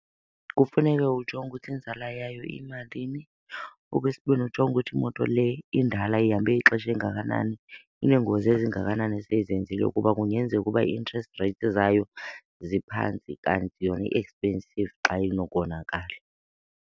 Kufuneke ujonge ukuthi inzala yayo iyimalini. Okwesibini, ujonge ukuthi imoto le indala ihambe ixesha elingakanani, ineengozi ezingakanani eseyizenzile kuba kungenzeka ukuba ii-interest rates zayo ziphantsi kanti yona i-expensive xa inokonakala.